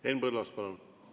Henn Põlluaas, palun!